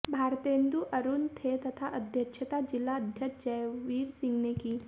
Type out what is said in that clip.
भारतेन्दु अरुण थे तथा अध्यक्षता जिलाध्यक्ष जयवीर सिंह ने की